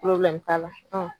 t'a la